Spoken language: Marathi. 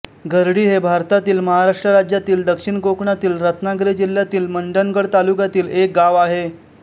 घरडी हे भारतातील महाराष्ट्र राज्यातील दक्षिण कोकणातील रत्नागिरी जिल्ह्यातील मंडणगड तालुक्यातील एक गाव आहे